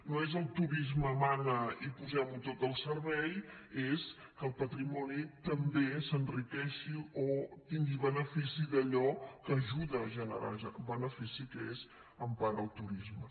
no és el turisme mana i posem ho tot al servei és que el patrimoni també s’enriqueixi o tingui benefici d’allò que ajuda a generar benefici que és en part el turisme